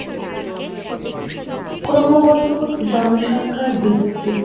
ক্রমাগত জনসংখ্যার বৃদ্ধি